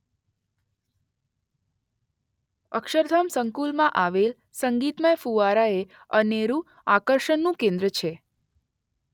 અક્ષરધામ સંકુલમાં આવેલ સંગીતમય ફુવારા એ અનેરું આકર્ષણનું કેન્દ્ર છે.